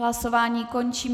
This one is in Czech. Hlasování končím.